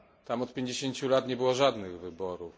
Tam od pięćdziesięciu lat nie było żadnych wyborów.